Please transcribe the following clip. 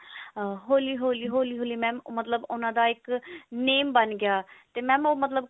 ah ਹੋਲੀ ਹੋਲੀ ਹੋਲੀ ਹੋਲੀ ਮਤਲਬ ਉਹਨਾਂ ਦਾ ਇੱਕ name ਬਣ ਗਿਆ ਤੇ mam ਉਹ ਮਤਲਬ